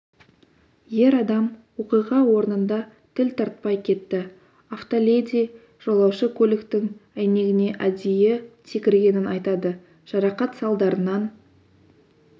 ер адам оқиға орнында тіл тартпай кетті автоледи жолаушы көліктің әйнегіне әдейі секіргенін айтады жарақат салдарынан